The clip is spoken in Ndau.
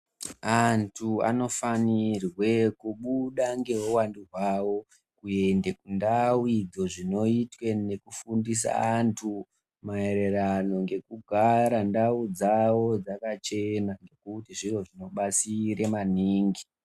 Antu anofanirwe kubuda ngeuvandu hwavo kuende kundau idzo. Zvinoitwe nekufundisa antu maererano ngekugara ndau dzavo dzakachena ngekuti zviro zvinobatsire maningi.